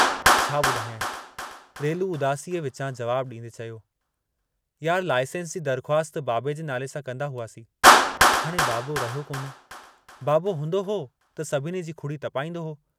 छा बुधायांइ" रेलू उदासीअ विचां जवाबु डींदे चयो, यार लाइसेंस जी दरख़्वास्त बाबे जे नाले सां कंदा हुआसीं, हाणे बाबो रहियो कोन्हे, बाबो हूंदो हो त सभिनी जी खुड़ी तपाईंदो हो।